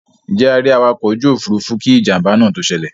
Ǹjẹ́ a rí awakọ̀ ojú òfuurufú kí ìjàmbá náà tó ṣẹlẹ̀?